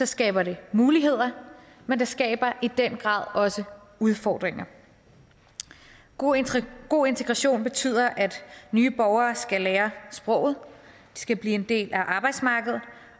skaber det muligheder men det skaber i den grad også udfordringer god god integration betyder at nye borgere skal lære sproget at de skal blive en del af arbejdsmarkedet